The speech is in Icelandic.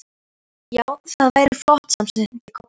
Já, það væri flott, samsinnti Kobbi.